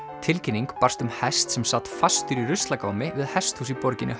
tilkynning barst um hest sem sat fastur í ruslagámi við hesthús í borginni